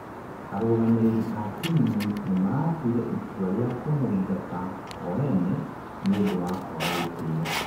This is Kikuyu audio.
arũgamĩrĩri a timu nimaratũire itua rĩa kũmũingata o ene nĩũndũ wa kwaga gĩtĩo